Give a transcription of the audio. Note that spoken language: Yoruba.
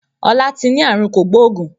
Ọlá tí ni àrùn kògbógùn